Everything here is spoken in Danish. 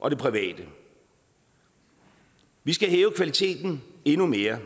og det private vi skal hæve kvaliteten endnu mere